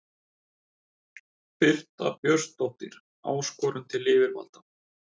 Birta Björnsdóttir: Áskorun til yfirvalda?